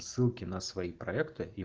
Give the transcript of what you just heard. ссылки на свои проекты и